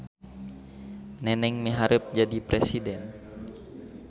Neneng miharep jadi presiden